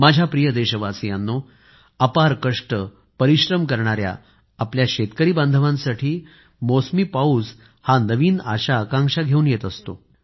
माझ्या प्रिय देशवासियांनो अपार कष्ट परिश्रम करणाऱ्या आपल्या शेतकरी बांधवांसाठी मौसमी पाऊस हा नवीन आशा आकांक्षा घेऊन येत असतो